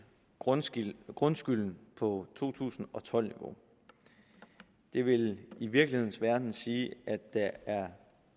grundskylden grundskylden på to tusind og tolv niveau det vil i virkelighedens verden sige at der er